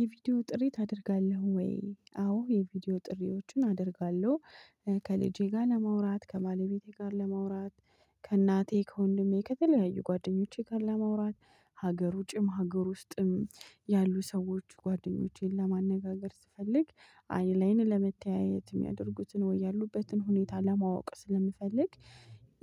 የቪዲዮ ጥሪ ታደርጋለህ ወይ? አዎ የቪዲዮ ጥሪዎችን አደርጋለሁ። ከልጄ ጋር ለማውራት ከባለቤቴ ጋር ለመውራት። ከእናቴ ከወንድሜ ከተለያዩ ጓደኞቼ ጋር ለመውራት። ሀገሩ ውጭም ሀገር ውስጥም ያሉ ሰዎች ጓደኞቼን ለማነጋገር ስፈልግ አይን ላይን ለመተያየት የሚያደርጉትን ወይ ያሉበትን ሁኔታ ለማወቅ ስለምፈልግ።